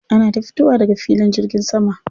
Ana ta fitowa daga filin jirgin sama.